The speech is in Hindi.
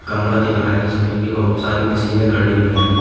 कमरा दिख रहा है जिसमें कि बहुत सारी मशीनें खड़ी हुई हैं।